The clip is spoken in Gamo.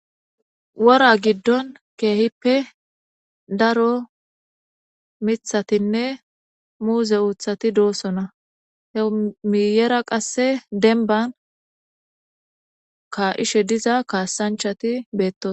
Wora giddon keehippe daro miththatinne muuze uuthati doosona miyeera qasse denban ka'ishe diza kasaanchati beeto